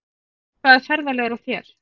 Hvaða ferðalag er á þér?